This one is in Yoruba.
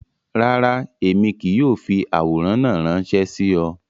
Rárá, Emi kii yóò fi aworan naa ranṣẹ si ọ.